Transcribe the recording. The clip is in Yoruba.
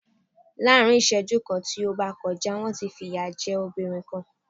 Lá́á̀rin ìsẹ́jú kan tí ó bá kọjá, wọ́n ti fi ìyà jẹ́ obìrin kan.